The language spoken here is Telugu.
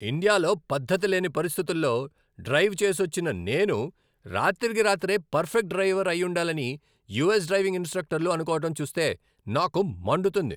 ఇండియాలో పద్ధతిలేని పరిస్థితుల్లో డ్రైవ్ చేసొచ్చిన నేను రాత్రికి రాత్రే పర్ఫెక్ట్ డ్రైవర్ అయ్యుండాలని యూఎస్ డ్రైవింగ్ ఇన్స్ట్రక్టర్లు అనుకోవడం చూస్తే నాకు మండుతుంది.